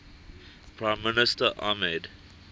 prime minister ahmed